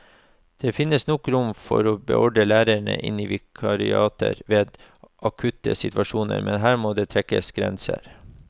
Det finnes nok rom for å beordre lærere inn i vikariater ved akutte situasjoner, men her må det trekkes grenser.